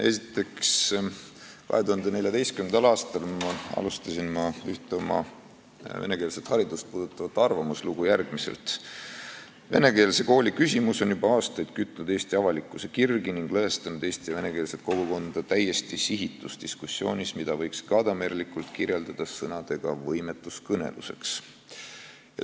Esiteks, 2014. aastal alustasin ma üht oma venekeelset haridust puudutavat arvamuslugu järgmiselt: "Venekeelse kooli küsimus on juba aastaid kütnud Eesti avalikkuse kirgi ning lõhestanud eesti- ja venekeelset kogukonda täiesti sihitus diskussioonis, mida võiks gadamerlikult kirjeldada sõnadega "võimetus kõneluseks".